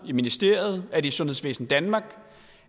i ministeriet er det i sundhedsvæsen danmark